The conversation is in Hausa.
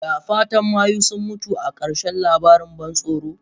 Da fatan mayu sun mutu a karshen labarin ban tsoro?